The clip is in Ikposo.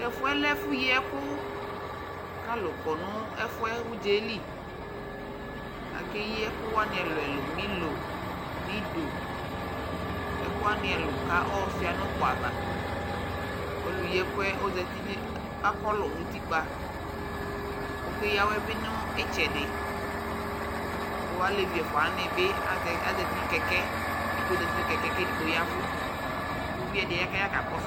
Tɛ fu yɛ lɛ ɛfu yi ɛku Ku alu kɔ nu ɛfu yɛ nu udza yɛ li Akeyi ɛkuani ɛlu ɛlu Milo , nido, ɛkuani ɛlu Ku ayɔ suia nu uku ava Ɔlu yi ɛku yɛ akolu nu utikpa ku ɔkeya awɛ bi nu itsɛdi Ku alevi efua wani bi aza uti nu keke edigbo za uti nu kɛkɛ ku edigbo ya ɛvu Evidze di ya ku aya kakɔsu